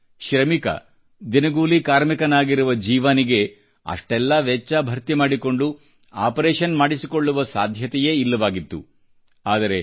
ಆದರೆ ಶ್ರಮಿಕ ದಿನಗೂಲಿ ಕಾರ್ಮಿಕರಾಗಿರುವ ಜೀವಾನಿಗೆ ಅಷ್ಟೆಲ್ಲ ವೆಚ್ಚ ಭರ್ತಿ ಮಾಡಿಕೊಂಡು ಆಪರೇಷನ್ ಮಾಡಿಸಿಕೊಳ್ಳುವ ಸಾಧ್ಯತೆಯೇ ಇಲ್ಲವಾಗಿತ್ತು